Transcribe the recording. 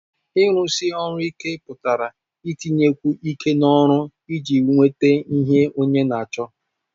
Ịrụsi ọrụ ike pụtara itinyekwu iké n'ọrụ iji nweta ihe Onye na-acho